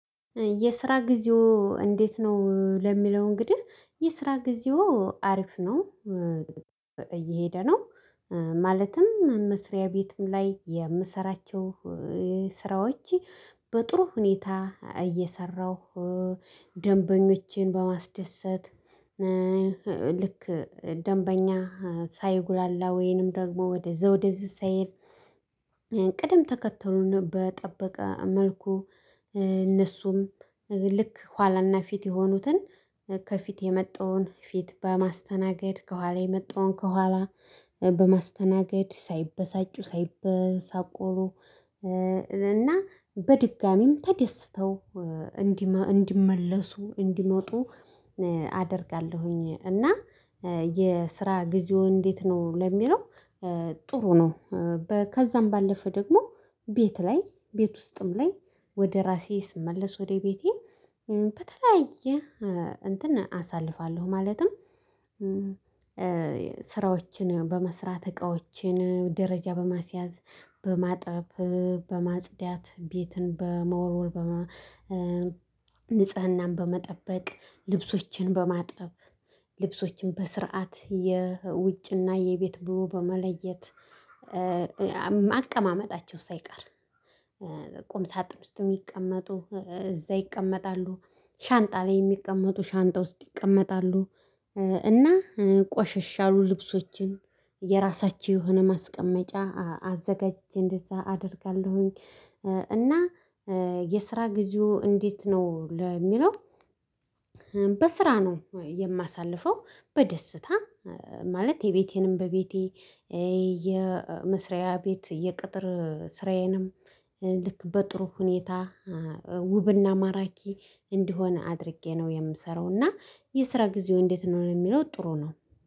የስራ ጊዜው እንዴት ነው? ለሚለው እንግዲህ የስራ ጊዜው አሪፍ ነው እየሄደ ነው። ማለትም መስሪያ ቤትም ላይ የምሰራቸው ስራዎች በጥሩ ሁኔታ እየሰራሁ ደንበኞቼን በማስደሰት ልክ ደንበኛ ሳይጉላላ ወይንም ደግሞ ወደዛ ወደዚህ ሳይል ቅድም ተከተሉን በጠበቀ መልኩ እነሱም ልክ ኋላና ፊት የሆኑትን ከፊት የመጣውን ፊት በማስተናገድ፣ ከኋላ የመጣውን ከኋላ በማስተናገድ፣ ሳይበሳጩ ሳይበሳቆሩ፣ እና በድጋሚም ተደስተው እንዲመለሱ እንዲመጡ አደርጋለሁኝ እና የስራ ጊዜው እንዴት ነው ለሚለው ጥሩ ነው። ከዛም ባለፈ ደግሞ ቤት ላይ ቤት ውስጥም ላይ ወደ ራሴ ስመለስ ወደ ቤቴ በተለያየ እንትን አሳልፋለሁ ማለትም ስራዎችን በመስራት እቃዎችን ደረጃ በማስያዝ፣ በማጠብ፣ በማጽዳት፣ ቤትን በመወልወል በመ ንጽህናን በመጠበቅ፣ ልብሶችን በማጠብ፣ ልብሶችን በስርዓት የውጭና የቤት ብሎ በመለየት፣ አቀማመጣቸው ሳይቀር ቁም ሳጥን ዉስጥ የሚቀመጡ እዛ ይቀመጣሉ፣ ሻንጣ ላይ የሚቀመጡ ሻንጣ ውስጥ ይቀመጣሉ፣ እና ቆሸሽ ያሉ ልብሶችን የራሳቸው የሆነ ማስቀመጫ አዘጋጅቼ እንደዛ አደርጋለሁኝ እና የስራ ጊዜው እንዴት ነው ለሚለው በስራ ነው የማሳልፈው በደስታ ማለት የቤቴንም በቤቴ የመስሪያ ቤት የቅጥር ስራዬንም ልክ በጥሩ ሁኔታ ውብና ማራኪ እንዲሆን አድርጌ ነው የምሰራው እና የስራ ጊዜው እንዴት ነው ለሚለው ጥሩ ነው።